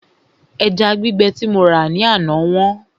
Ẹja gbígbẹ tí mo rà ní àná wọ́n